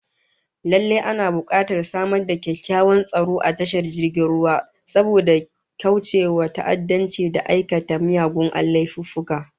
Lallai ana bukatar samar da kyakkyawan tsaro a tashar jirgin ruwa, saboda kaucewa ta'addanci da aikata miyagun laifuffuka